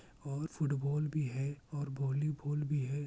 और फूटबाल भी है और वॉलीबॉल भी है।